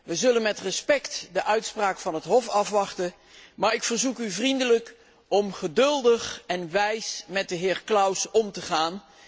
We zullen met respect de uitspraak van het Hof afwachten, maar ik verzoek u vriendelijk om geduldig en wijs met de heer Klaus om te gaan.